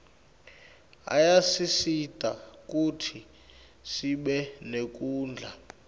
ayasisita kutsi sibe nekudla